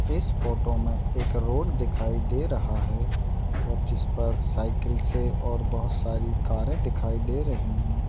इस फोटो मे एक रोड दिखाई दे रहा है और जिस पर साइकल से और बहोत सारी कारे दिखाई दे रही हैं।